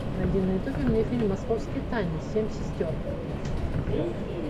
найди на ютубе мне фильм московские тайны семь сестер